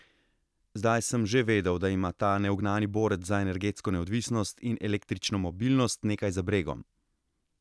Zdaj sem že vedel, da ima ta neugnani borec za energetsko neodvisnost in električno mobilnost nekaj za bregom.